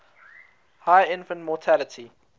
high infant mortality